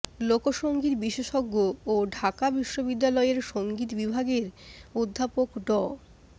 লোকসংগীত বিশেষজ্ঞ ও ঢাকা বিশ্ববিদ্যালয়ের সংগীত বিভাগের অধ্যাপক ড